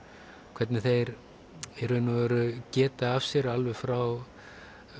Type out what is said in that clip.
hvernig þeir í raun og veru geta af sér alveg frá